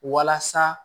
Walasa